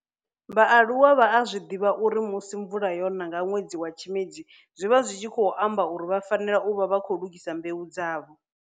vha aluwa vha a divha uri musi mvula yona nga nwedzi wa Tshimedzi zwi vha zwi tshi khou amba uri vha fanela u vha vha khou lugisa mbeu dzavho.